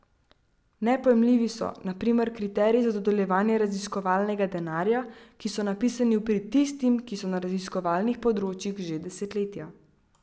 Nepojmljivi so, na primer, kriteriji za dodeljevanje raziskovalnega denarja, ki so napisani v prid tistim, ki so na raziskovalnih področjih že desetletja.